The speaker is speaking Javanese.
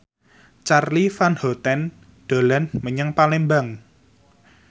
Charly Van Houten dolan menyang Palembang